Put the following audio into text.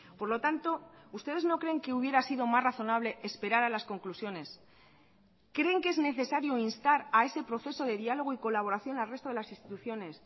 por lo tanto ustedes no creen que hubiera sido más razonable esperar a las conclusiones creen que es necesario instar a ese proceso de diálogo y colaboración al resto de las instituciones